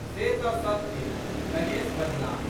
से तऽ सत्ते। "गणेश बजलाह।